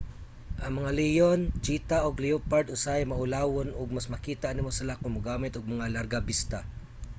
ang mga leon cheetah ug leopard usahay maulawon ug mas makita nimo sila kon mogamit og mga largabista